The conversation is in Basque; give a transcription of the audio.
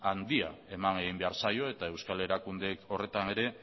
handia eman egin behar zaio eta euskal erakundeek horretan ere